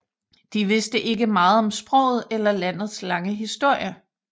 De vidste ikke meget om sproget eller landets lange historie